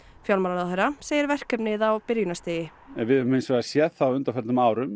fjármálaráðherra segir verkefnið á byrjunarstigi við höfum hins vegar séð það á undanförnum árum